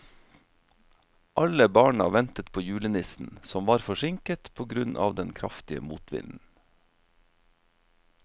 Alle barna ventet på julenissen, som var forsinket på grunn av den kraftige motvinden.